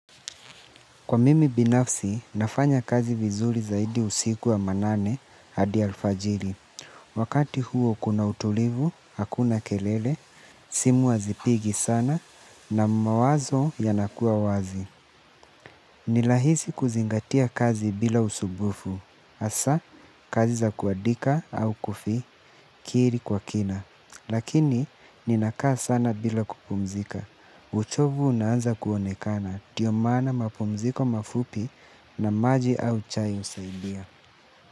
Kwa mimi binafsi, nafanya kazi vizuri zaidi usiku wa manane hadi alfajiri. Wakati huo kuna utulivu, hakuna kelele, simu hazipigi sana na mawazo yanakuwa wazi. Ni rahisi kuzingatia kazi bila usubufu. Asa, kazi za kuadika au kufi, kiri kwa kina. Lakini, ninakaa sana bila kupumzika. Uchovu unaanza kuonekana ndio maana, mapumziko mafupi na maji au chai husaidia.